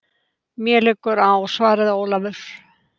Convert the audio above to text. Mér liggur á, svaraði Ólafur.